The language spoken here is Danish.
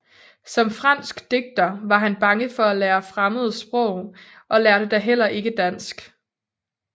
Som fransk digter var han bange for at lære fremmede sprog og lærte da heller ikke dansk